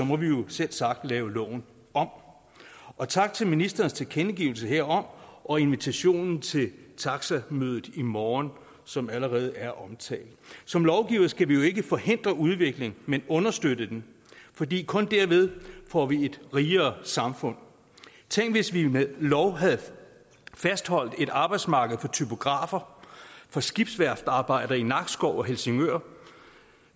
må vi jo selvsagt lave loven om og tak for ministerens tilkendelse herom og invitationen til taxamødet i morgen som allerede er omtalt som lovgiver skal vi jo ikke forhindre udvikling men understøtte den fordi kun derved får vi et rigere samfund tænk hvis vi med lov havde fastholdt et arbejdsmarked for typografer for skibsværftarbejdere i nakskov og helsingør